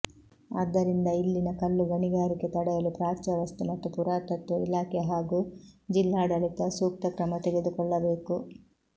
ಆದ್ದರಿಂದ ಇಲ್ಲಿನ ಕಲ್ಲು ಗಣಿಗಾರಿಕೆ ತಡೆಯಲು ಪ್ರಾಚ್ಯವಸ್ತು ಮತ್ತು ಪುರಾತತ್ವ ಇಲಾಖೆ ಹಾಗೂ ಜಿಲ್ಲಾಡಳಿತ ಸೂಕ್ತ ಕ್ರಮ ತೆಗೆದುಕೊಳ್ಳಬೇಕು